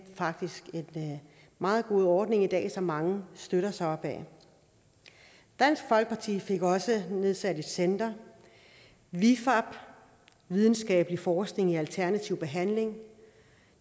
faktisk en meget god ordning i dag som mange støtter sig op ad dansk folkeparti fik også nedsat et center vifab videnskabelig forskning i alternativ behandling og